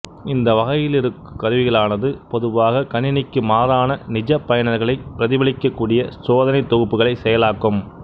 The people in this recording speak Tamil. இந்த வகையிலிருக்கு கருவிகளானது பொதுவாக கணினிக்கு மாறான நிஜ பயனர்களை பிரதிபலிக்கக்கூடிய சோதனை தொகுப்புகளை செயலாக்கும்